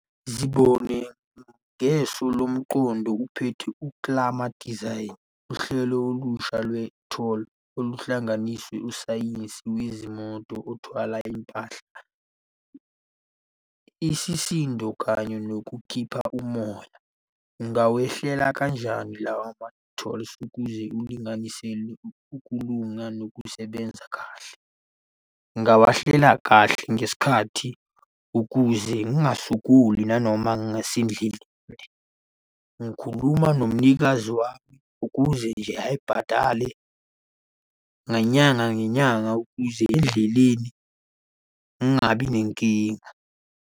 Zibone ngeso lomqondi uphethe ukuklama, design, uhlelo olusha lwe-toll oluhlanganisa usayizi wezimoto othwala impahla. Isisindo kanye nokukhipha umoya. Ungawehlela kanjani lawa ma-tolls ukuze ulinganisele ukulunga nokusebenza kahle? Ngingawahlela kahle ngesikhathi ukuze ngingasokoli nanoma ngasendlini. Ngikhuluma nomnikazi wami ukuze nje ayibhadale ngenyanga ngenyanga ukuze endleleni ngingabi nenkinga.